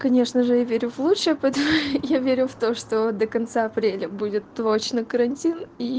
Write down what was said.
конечно же я верю в лучшее поэтому я верю в то что до конца апреля будет точно карантин и